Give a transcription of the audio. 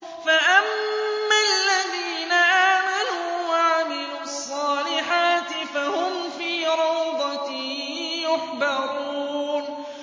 فَأَمَّا الَّذِينَ آمَنُوا وَعَمِلُوا الصَّالِحَاتِ فَهُمْ فِي رَوْضَةٍ يُحْبَرُونَ